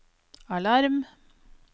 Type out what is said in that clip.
alarm